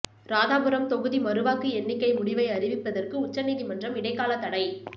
ராதாபுரம் தொகுதி மறுவாக்கு எண்ணிக்கை முடிவை அறிவிப்பதற்கு உச்சநீதிமன்றம் இடைக்காலத் தடை